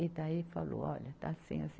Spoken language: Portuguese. E daí falou, olha, está assim, assim.